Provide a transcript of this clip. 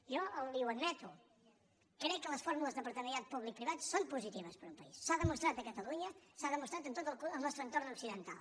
jo li ho admeto crec que les fórmules de partenariat públic privat són positives per a un país s’ha demostrat a catalunya s’ha demostrat en tot el nostre entorn occidental